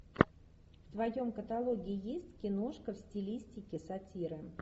в твоем каталоге есть киношка в стилистике сатиры